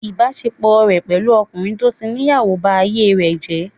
Ìbásepọ̀ rẹ̀ pẹ̀lú ọkùnrin tó tí níyàwó ba ayé rẹ̀ jẹ́